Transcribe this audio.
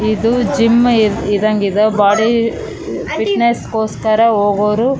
ಇದು ಜಿಮ್ಮ್ ಇರ ಇರೋಹಂಗಿದ ಬಾಡಿ ಫಿಟ್ಟೆಸ್ಸ್ ಗೋಸ್ಕರ ಹೋಗೋರು --